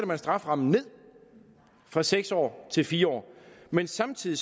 man strafferammen ned fra seks år til fire år men samtidig